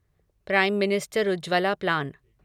prime minister Ujjwala plan